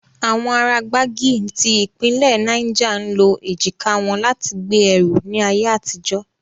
Awọn ara Gbagyi ti ipinle Niger ń lo ejika wọn lati gbe ẹru ni aye atijo.